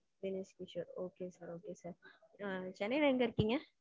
Dinesh Kishon. okay sir okay sir. சென்னைல எங்க இருக்கீங்க?